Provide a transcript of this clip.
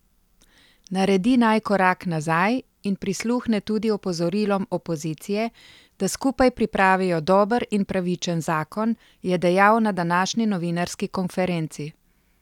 Naredi naj korak nazaj in prisluhne tudi opozorilom opozicije, da skupaj pripravijo dober in pravičen zakon, je dejal na današnji novinarski konferenci.